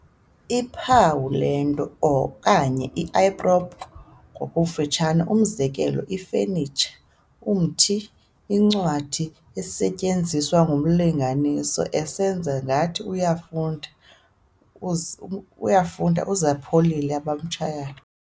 iluphawu lwento , or "i-prop" ngokufutshane, umzekelo, ifenitsha, umthi, incwadi esetyenziswa ngumlinganiswa esenza ngathi uyafunda, uzalipholile abamtshayayo.